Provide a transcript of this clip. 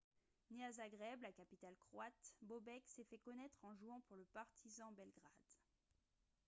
né à zagreb la capitale croate bobek s'est fait connaître en jouant pour le partizan belgrade